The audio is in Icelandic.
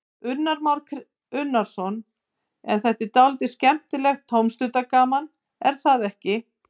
Kristján Már Unnarsson: En þetta er dálítið skemmtilegt tómstundagaman, er það ekki?